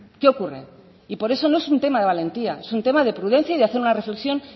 qué ocurre y por eso no es un tema de valentía es un tema de prudencia y de hacer una reflexión